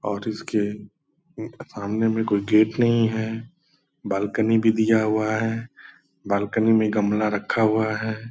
और इसके सामने में कोई गेट नहीं है बालकनी भी दिया हुआ है। बालकनी में गमला रखा हुआ है।